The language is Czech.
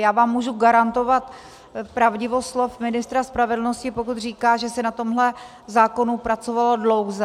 Já vám můžu garantovat pravdivost slov ministra spravedlnosti, pokud říká, že se na tomhle zákonu pracovalo dlouze.